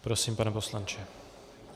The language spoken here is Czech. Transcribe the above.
Prosím, pane poslanče.